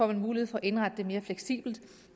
der mulighed for at indrette det mere fleksibelt